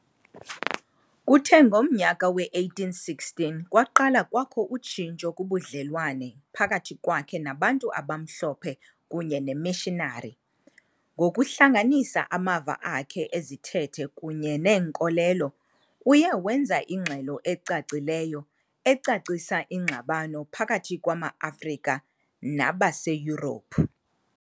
Kuthe ngomnyaka we-1816 kwaqala kwakho utshintsho kubudlelwane phakathi kwakhe nabantu abamhlophe kunye nemishinari. Ngokuhlanganisa amava akhe ezithethe kunye neenkolelo, uye wenza ingxelo ecacileyo, ecacisa ingxabano phakathi kwamaAfrika nabaseYurophu.